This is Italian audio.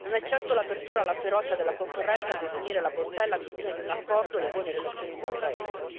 Non è certo l'apertura alla ferocia della concorrenza a definire la bontà e l'ambizione di un accordo, le buone relazioni fra paesi.